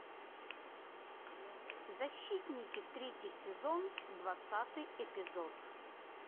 защитники третий сезон двадцатый эпизод